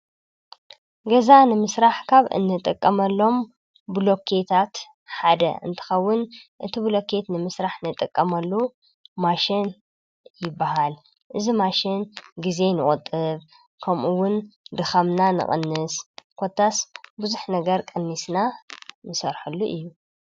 ገዛ ንምሥራሕ ካብ እነጠቀመሎም ብሎታት ሓደ እንትኸውን እቲ ብሎከት ንምሥራሕ እነጠቀመሉ ማሽን ይበሃል እዝ ማሽን ጊዜ ንቖጥብ ከምኡውን ድኸምና ንቕንስ ኰታስ ብዙኅ ነገር ቀኒስና ንሰርሐሉ እዩ።